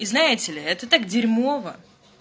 и знаете ли это так дерьмово